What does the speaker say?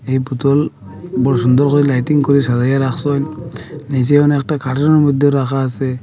এই বোতল বড়ো সুন্দর করে লাইটিং করে সাজাইয়া রাখসে নীচে অনেকটা কার্টনের মইধ্যেও রাখা আসে ।